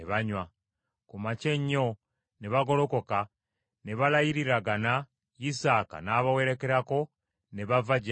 Ku makya ennyo ne bagolokoka ne balayiriragana, Isaaka n’abawerekerako ne bava gy’ali mirembe.